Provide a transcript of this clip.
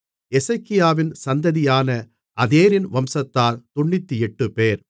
எசேக்கியாவின் சந்ததியான அதேரின் வம்சத்தார் 98 பேர்